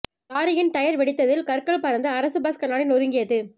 லாரியின் டயர் வெடித்ததில் கற்கள் பறந்து அரசு பஸ் கண்ணாடி நொறுங்கியது